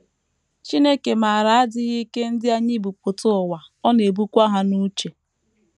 Chineke maara adịghị ike ndị anyị bu pụta ụwa, ọ na - ebukwa ha n’uche.